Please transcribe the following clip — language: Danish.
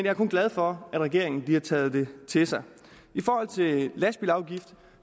er kun glad for at regeringen har taget det til sig i forhold til lastbilafgiften